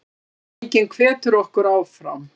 Viðurkenningin hvetur okkur áfram